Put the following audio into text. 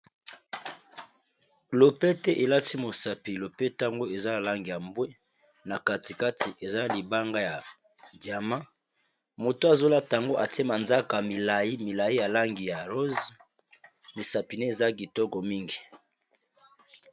Lopete elati mosapi lopete yango eza na langi ya mbwe na kati kati eza libanga ya diama moto azolata yango atie ma nzaka milayi milayi ya langi ya rose misapi naye eza kitoko mingi